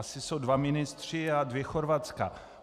Asi jsou dva ministři a dvě Chorvatska.